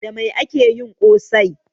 Da mai ake yin ƙosai?